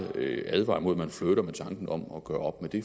advare imod at man flirter med tanken om at gøre op med det